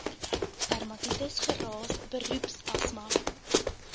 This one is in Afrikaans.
dermatitis geraas beroepsasma